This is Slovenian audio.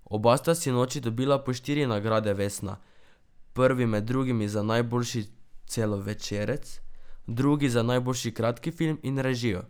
Oba sta sinoči dobila po štiri nagrade vesna, prvi med drugim za najboljši celovečerec, drugi za najboljši kratki film in režijo.